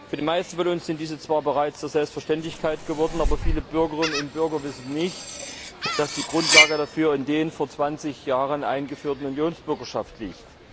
Für die meisten von uns sind diese zwar bereits zur Selbstverständlichkeit geworden, aber viele Bürgerinnen und Bürger wissen nicht, dass die Grundlage dafür die vor 20 Jahren eingeführte Unionsbürgerschaft ist.